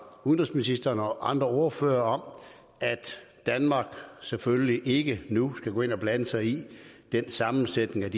udenrigsministeren og andre ordførere om at danmark selvfølgelig ikke nu skal gå ind og blande sig i sammensætningen af